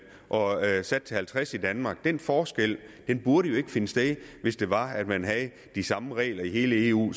og halvtreds i danmark den forskel burde jo ikke finde sted hvis det var at man havde de samme regler i hele eu